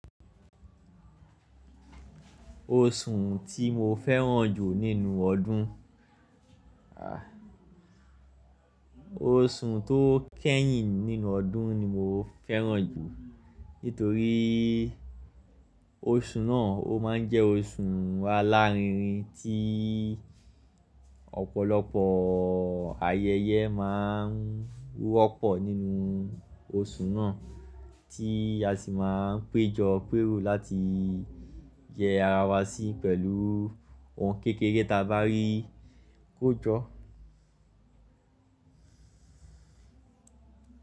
Oṣù tí mo fẹ́ràn jù nínú ọdún, oṣù tó kẹ́yìn nínú ọdún ni mo fẹ́ràn jù nítorí oṣù náà ó máa ń jẹ́ oṣù alárinrin tí ọ̀pọ̀lọpọ̀ ayẹyẹ máa ń wọ́pọ̀ nínú oṣù náà tí a sì máa ń péjọ pèrò láti yẹ ara wa sí pẹ̀lú ohun kékeré ta bá rí kó jọ.